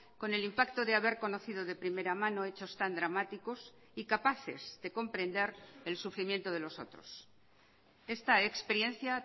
con el impacto de haber conocido de primera mano hechos tan dramáticos y capaces de comprender el sufrimiento de los otros esta experiencia